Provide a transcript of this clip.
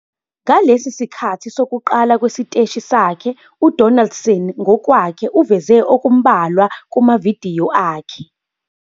Ngalesi sikhathi sokuqala kwesiteshi sakhe, uDonaldson ngokwakhe uvele okumbalwa kumavidiyo akhe.